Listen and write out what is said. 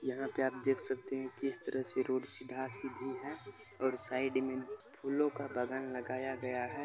यहां पे आप देख सकते है किस तरह से रोड पर सीधा-सीधी है और साइड में फूलों का बागान लगाया गया है।